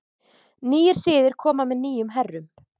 Nýir siðir koma með nýjum herrum.